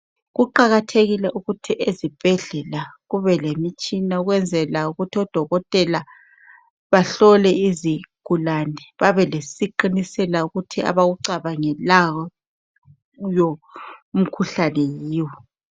kuqakathekile ukuthi ezibhedlela kube lemitshina ukuze odokotela bahlole izigulane babe lesiqinisela ukuba abakucabangelayo umkhuhlane yiwo.